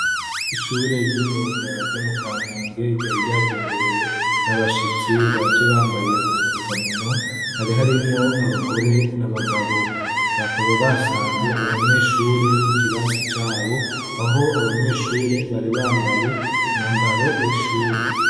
Ishure ry'imyuga ryo mu Kamenge rari ryagenderewe n'abashitsi baje bambaye udufukamunwa, hari harimwo abagore n'abagabo, bakaba basanze abanyeshure mu kirasi cabo, aho abanyeshure bari bambaye umwambaro w'ishure.